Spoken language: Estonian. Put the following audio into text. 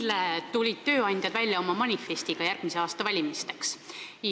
Eile tulid tööandjad välja oma manifestiga järgmise aasta valimisteks.